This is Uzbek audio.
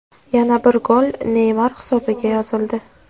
Yana bir gol Neymar hisobiga yozildi.